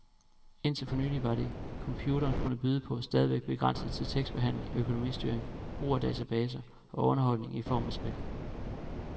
Indtil for nylig var det, computeren kunne byde på, stadigvæk begrænset til tekstbehandling, økonomistyring, brug af databaser og underholdning i form af spil.